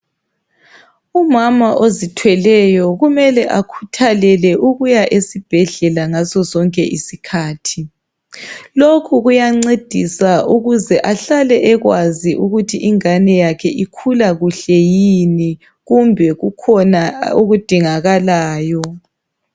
Umama ozithweleyo kumele akhuthalele ukuya esibhedlela ngaso sonke isikhathi. Lokhu kuyancedisa ukuze ahlale ekwazi ukuthi ingane yakhe ikhula kuhle yini kumbe kukhona okudingakalayo.